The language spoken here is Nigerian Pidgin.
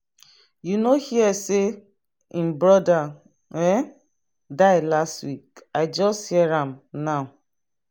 you no hear say him brother um die last week i just hear am now.